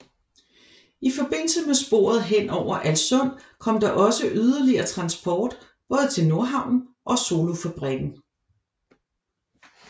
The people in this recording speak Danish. I forbindelse med sporet hen over Alssund kom der også yderligere transport både til Nordhavnen og Solofabrikken